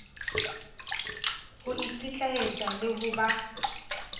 ho ikitlaetsa le ho ba